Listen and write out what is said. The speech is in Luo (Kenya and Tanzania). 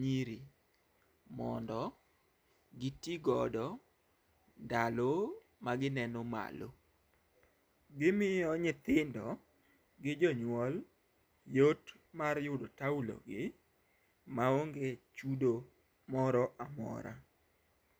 nyiri mondo gitigodo ndalo ma gineno malo. Gimiyo nyithindo gi jonyuol yot mar yudo taulo gi maonge chudo moro amora.